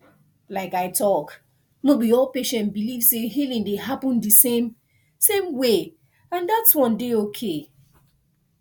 like i talk no be all patient believe say healing dey happen the same same way and that one dey okay